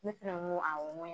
Ne fɛnɛ n ko awɔ n ko